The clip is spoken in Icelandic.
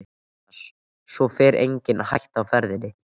Jónas: Svo hér er engin hætta á ferðinni?